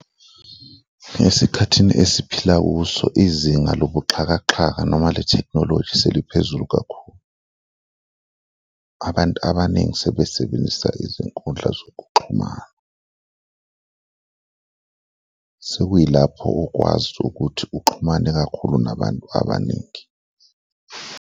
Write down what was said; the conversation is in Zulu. Esikhathini esiphila kuso, izinga lobuxakaxaka noma le-technology seliphezulu kakhulu. Abantu abaningi sebesebenzisa izinkundla zokuxhumana, sekuyilapho ukwazi ukuthi uxhumane kakhulu nabantu abaningi.